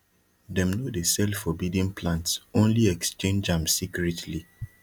them no dey sell forbidden plants only exchange am secretly